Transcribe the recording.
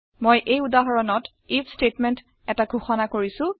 মই এই উদাহৰণত আইএফ ষ্টেটমেণ্ট এটা ঘোষণা কৰিছো